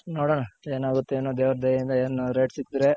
ನೋಡೋಣ ಏನಾಗುತ್ತೂ ಏನೋ ದೇವ್ರ್ ದಯೆ ಯಿಂದ ಏನ್ rate ಸಿಕ್ದ್ರೆ.